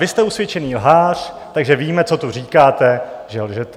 Vy jste usvědčený lhář, takže víme, co tu říkáte, že lžete.